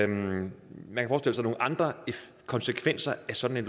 nogle andre konsekvenser af sådan et